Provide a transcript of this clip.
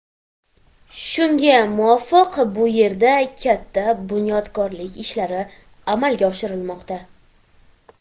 Shunga muvofiq bu yerda katta bunyodkorlik ishlari amalga oshirilmoqda.